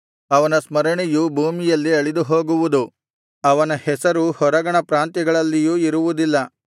ಅವನ ಸ್ಮರಣೆಯು ಭೂಮಿಯಲ್ಲಿ ಅಳಿದುಹೋಗುವುದು ಅವನ ಹೆಸರು ಹೊರಗಣ ಪ್ರಾಂತ್ಯಗಳಲ್ಲಿಯೂ ಇರುವುದಿಲ್ಲ